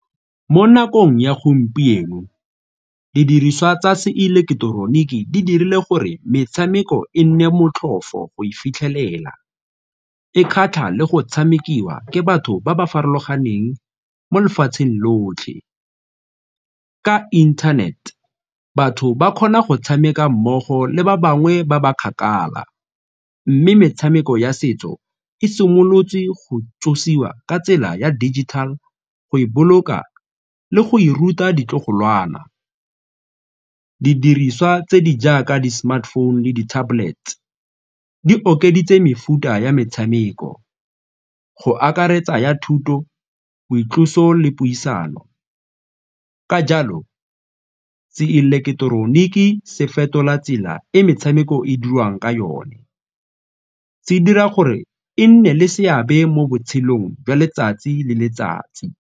Mo nakong ya gompieno didiriswa tsa seileketeroniki di dirile gore metshameko e nne motlhofo go e fitlhelela, e kgatlha le go tshamekiwa ke batho ba ba farologaneng mo lefatsheng lotlhe. Ka inthanete batho ba kgona go tshameka mmogo le ba bangwe ba ba kgakala mme metshameko ya setso e simolotswe go tsosiwa ka tsela ya digital, go e boloka le go e ruta ditlogolwana. Didiriswa tse di jaaka di-smartphone le di-tablet di okeditse mefuta ya metshameko go akaretsa ya thuto, boitloso le puisano ka jalo seileketeroniki se fetola tsela e metshameko e dirwang ka yone, se dira gore e nne le seabe mo botshelong jwa letsatsi le letsatsi.